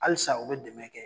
Halisa u be dɛmɛ kɛ.